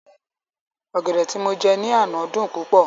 Ọ̀gẹ̀dẹ̀ tí mo jẹ ní àná dùn púpọ̀